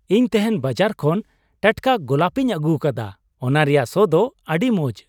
ᱤᱧ ᱛᱮᱦᱮᱧ ᱵᱟᱡᱟᱨ ᱠᱷᱚᱱ ᱴᱟᱴᱠᱟ ᱜᱳᱞᱟᱯᱤᱧ ᱟᱹᱜᱩᱣᱟᱠᱟᱫᱟ ᱾ ᱚᱱᱟ ᱨᱮᱭᱟᱜ ᱥᱚ ᱫᱚ ᱟᱹᱰᱤ ᱢᱚᱡ ᱾